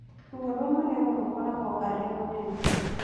Ruo rwa magego rũkoragwo arĩ rũnene